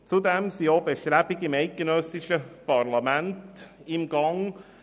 Zudem sind auch Bestrebungen im eidgenössischen Parlament im Gang.